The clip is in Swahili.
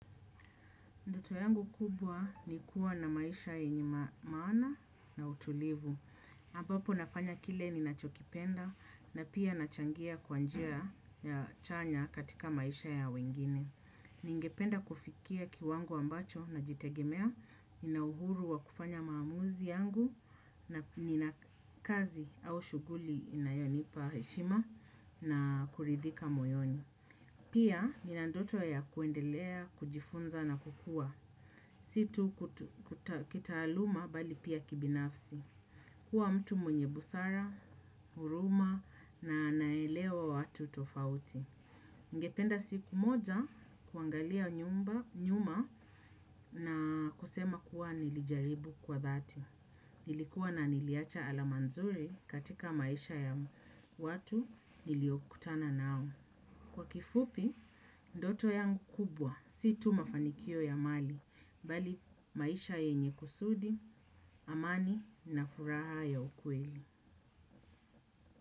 Ndoto yangu kubwa ni kuwa na maisha yenye ma maana na utulivu. Ambapo nafanya kile ninachokipenda na pia nachangia kwa njia ya ya chanya katika maisha ya wengine. Ningependa kufikia kiwango ambacho najitegemea, nina uhuru wa kufanya maamuzi yangu na nina kazi au shughuli inayonipa heshima na kuridhika moyoni. Pia nina ndoto ya kuendelea, kujifunza na kukua. Si tu kutu kuta kitaaluma bali pia kibinafsi. Kuwa mtu mwenye busara, huruma na naelewa watu tofauti. Ningependa siku moja kuangalia nyumba nyuma na kusema kuwa nilijaribu kwa dhati. Nilikuwa na niliacha alama nzuri katika maisha ya watu niliokutana nao. Kwa kifupi, ndoto yangu kubwa, si tu mafanikio ya mali, bali maisha yenye kusudi, amani na furaha ya ukweli.